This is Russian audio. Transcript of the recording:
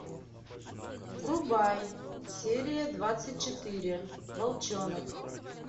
врубай серия двадцать четыре волчонок